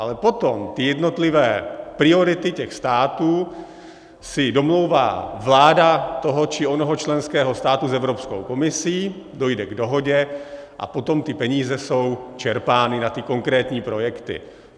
Ale potom ty jednotlivé priority těch států si domlouvá vláda toho či onoho členského státu s Evropskou komisí, dojde k dohodě a potom ty peníze jsou čerpány na ty konkrétní projekty.